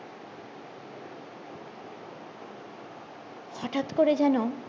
হটাৎ করে যেন